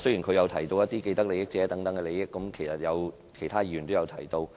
他亦提到既得利益者等，其他議員亦有提及。